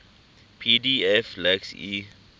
pdf lacks e